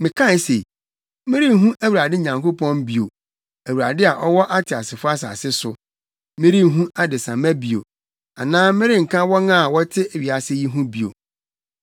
Mekae se, “Merenhu Awurade Nyankopɔn bio Awurade a ɔwɔ ateasefo asase so. Merenhu adesamma bio, anaa merenka wɔn a wɔte wiase yi ho bio.